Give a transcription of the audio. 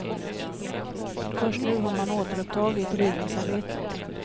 Först nu har man återupptagit rivningsarbetet.